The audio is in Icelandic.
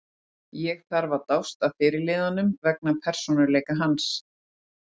Ég þarf að dást að fyrirliðanum vegna persónuleika hans.